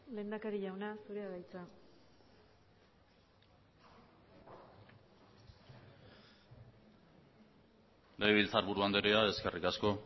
lehendakari jauna zurea da hitza legebiltzarburu andrea eskerrik asko